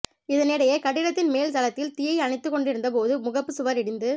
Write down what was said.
இதனிடையே கட்டிடத்தின் மேல் தளத்தில் தீயை அணைத்துக் கொண்டிருந்த போது முகப்பு சுவர் இடிந்து